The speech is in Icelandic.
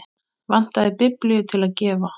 Vantaði biblíu til að gefa.